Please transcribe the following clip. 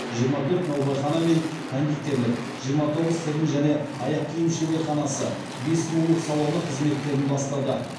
жиырма төрт наубайхана мен кондитерлік жиырма тоғыз тігін және аяқ киім шеберханасы бес сұлулық салоны қызметтерін бастады